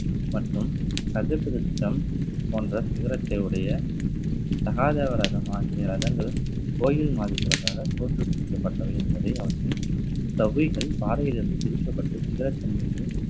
மற்றும் போன்ற சிகரத்தை உடைய சகாஜ விரதம் ஆகிய ரதங்கள் கோயில் மாதிரி தோற்றுவிக்கப்பட்டவை என்பதை அவற்றின் தவ்விகள் பாறையிலிருந்து பிரிக்கப்பட்டு சிகரத்தின் மீது